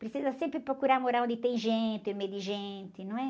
Precisa sempre procurar morar onde tem gente, em meio de gente, não é?